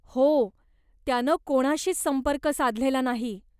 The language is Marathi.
हो, त्यानं कोणाशीच संपर्क साधलेला नाही.